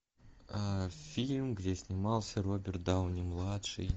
фильм где снимался роберт дауни младший